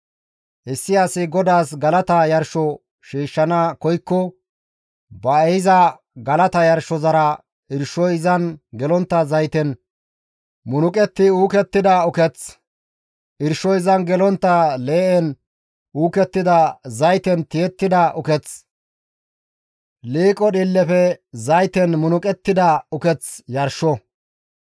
issi asi GODAAS galata yarsho shiishshana koykko ba ehiza galata yarshozara irshoy izan gelontta zayten munuqetti uukettida uketh, irshoy izan gelontta lee7en uukettidi zayten tiyettida uketh, liiqo dhiillefe zayten munuqettida uketh yarsho.